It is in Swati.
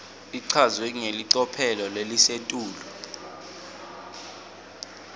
ichazwe ngelicophelo lelisetulu